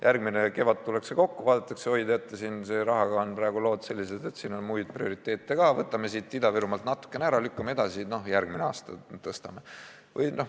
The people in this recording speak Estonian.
Järgmine kevad tullakse kokku, vaadatakse, et oi, teate, rahaga on praegu lood sellised, et on muid prioriteete ka, võtame Ida-Virumaalt natukene ära, lükkame edasi, noh järgmine aasta tõstame.